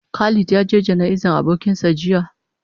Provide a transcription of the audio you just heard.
Khalid ya ge gana'iza abokin sa jiya.